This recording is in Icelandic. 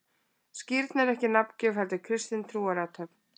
Skírn er ekki nafngjöf, heldur kristin trúarathöfn.